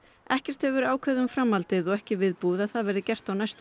ekkert hefur verið ákveðið um framhaldið og ekki viðbúið að það verði gert á næstu